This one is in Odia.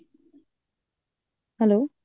hello